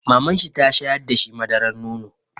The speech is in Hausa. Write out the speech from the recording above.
Mamanshi ta shayar da shi madarar nono.